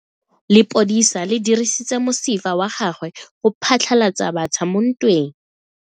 Lepodisa le dirisitse mosifa wa gagwe go phatlalatsa batšha mo ntweng.